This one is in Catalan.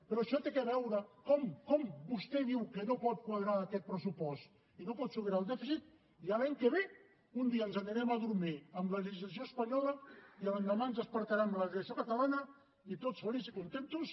però això té a veure com com vostè diu que no pot quadrar aquest pressupost i no pot superar el dèficit i l’any que ve un dia ens anirem a dormir amb la legislació espanyola i l’endemà ens despertarem amb la legislació catalana i tots feliços i contents